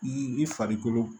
I farikolo